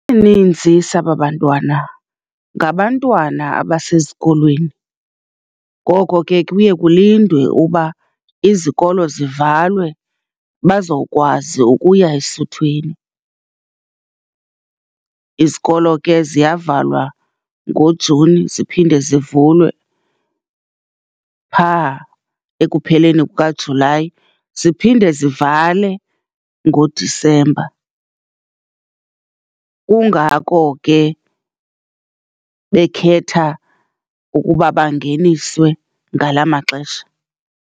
Isininzi saba bantwana ngabantwana abasezikolweni, ngoko ke kuye kulindwe uba izikolo zivalwe bazokwazi ukuya esuthwini. Izikolo ke ziyavalwa ngoJuni ziphinde zivulwe pha ekupheleni kukaJulayi, ziphinde zivale ngoDisemba. Kungako ke bekhetha ukuba bangeniswe ngala maxesha.